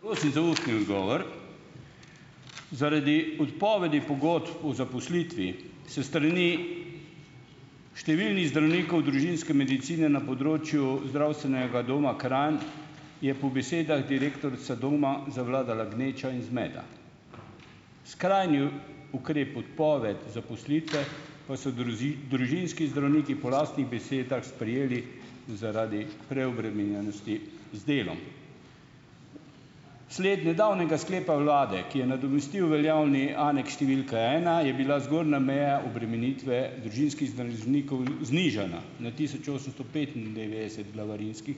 Prosim za ustni odgovor. Zaradi odpovedi pogodb o zaposlitvi s strani številnih zdravnikov družinske medicine na področju Zdravstvenega doma Kranj je po besedah direktorica doma zavladala gneča in zmeda. Skrajni ukrep odpoved zaposlitve pa so družinski zdravniki po lastnih besedah sprejeli zaradi preobremenjenosti z delom. Sled nedavnega sklepa vlade, ki je nadomestil veljavni aneks številka ena, je bila zgornja meja obremenitve znižana na tisoč osemsto petindevetdeset glavarinskih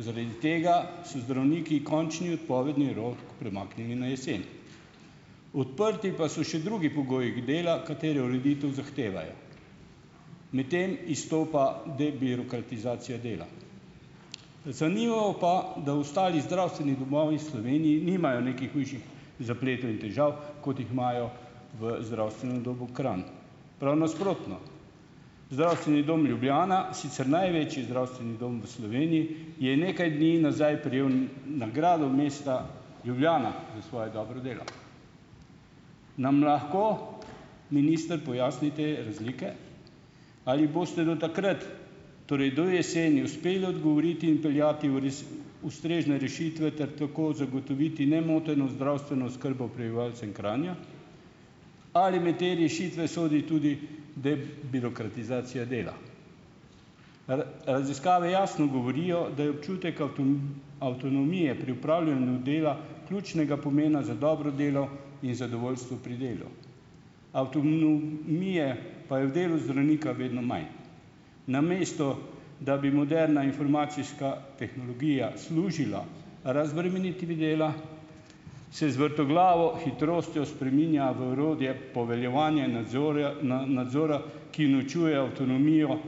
Zaradi tega so zdravniki končni odpovedni rok premaknili na jesen. Odprti pa so še drugi pogoji dela, katere ureditev zahtevajo. Med temi izstopa debirokratizacija dela. Zanimivo pa, da ostali zdravstveni domovi nimajo nekih hujših zapletov in težav, kot jih imajo v Zdravstvenem domu Kranj. Prav nasprotno, Zdravstveni dom Ljubljana - sicer največji zdravstveni dom v je nekaj dni nazaj prejel nagrado mesta Ljubljana za svoje dobro delo. Nam lahko minister pojasni te razlike? Ali boste do takrat, torej do jeseni, uspeli odgovoriti in vpeljati ustrezne rešitve ter tako zagotoviti nemoteno zdravstveno oskrbo prebivalcem Kranja? Ali med te rešitve sodi tudi da birokratizacija dela? Raziskave jasno govorijo, da je občutek avtonomije pri opravljanju dela ključnega pomena za dobro delo in zadovoljstvo pri delu, pa je v delu zdravnika vedno manj. Namesto da bi moderna informacijska tehnologija služila razbremenitvi dela, se z vrtoglavo hitrostjo spreminja v poveljevanja nadzorja nadzora, ki ločuje avtonomijo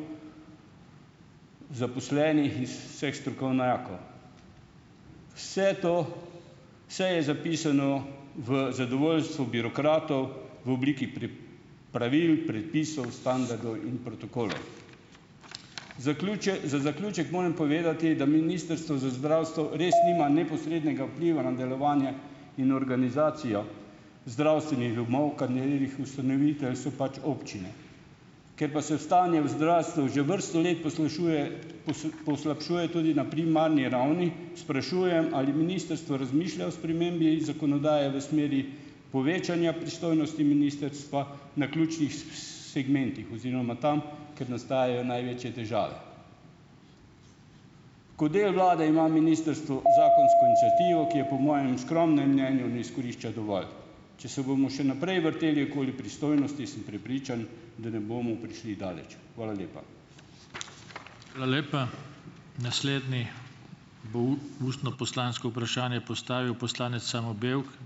zaposlenih iz vseh strokovnjakov. Vse to vse je zapisano v zadovoljstvo birokratov, v obliki pri pravil, predpisov, standardov in protokolov. za zaključek moram povedati, da Ministrstvo za zdravstvo res nima neposrednega vpliva na delovanje in organizacijo zdravstvenih domov, so pač občine. Ker pa se stanje v zdravstvu že vrsto let poslabšuje poslabšuje tudi na primarni ravni, sprašujem, ali ministrstvo razmišlja o spremembi zakonodaje v smeri povečanja pristojnosti ministrstva na ključnih, segmentih oziroma tam, ker nastajajo največje težave? Kot del vlade ima ministrstvo zakonsko iniciativo, ki je po mojem skromnem mnenju ne izkorišča dovolj. Če se bomo še naprej vrteli okoli pristojnosti, sem prepričan, da ne bomo prišli daleč. Hvala lepa. Hvala lepa. Naslednji bo ustno poslansko vprašanje postavil poslanec Samo Bevk.